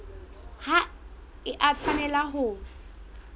ha e a tshwanela ho